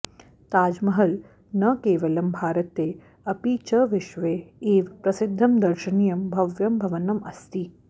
ताजमहल् न केवलं भारते अपि च विश्वे एव प्रसिद्धं दर्शनीयं भव्यं भवनम् अस्ति